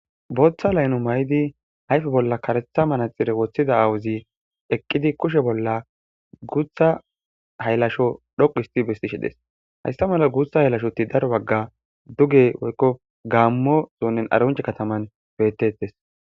Booththa layno may7idi hayfe bolla karetha manaxire woththida awuzi eqqidi kushe bolla guutha haylasho dhoqu histi bestishi des haysta mala guutha haylashoti daro bagga duge woykko gaammo zoonnen aronce kataman betettes.